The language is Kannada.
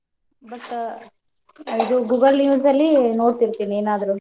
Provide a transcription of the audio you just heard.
but Google News ಲ್ಲಿ ನೋಡ್ತಿರ್ತೀನಿ ಏನಾದ್ರು.